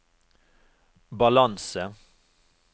balanse